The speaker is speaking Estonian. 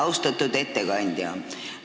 Austatud ettekandja!